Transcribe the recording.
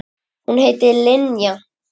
Hún heitir Linja.